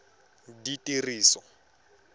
ditiriso